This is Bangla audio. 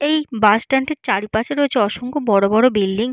এই বাস স্ট্যান্ড -টির চারিপাশে রয়েছে অসংখ্য বড়বড় বিল্ডিং ।